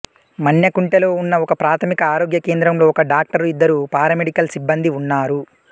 మన్నెకుంటలో ఉన్న ఒకప్రాథమిక ఆరోగ్య కేంద్రంలో ఒక డాక్టరు ఇద్దరు పారామెడికల్ సిబ్బందీ ఉన్నారు